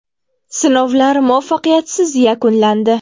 Sinovlar muvaffaqiyatsiz yakunlandi.